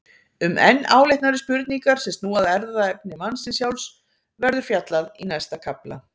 Um enn áleitnari spurningar sem snúa að erfðaefni mannsins sjálfs verður fjallað í næsta kafla.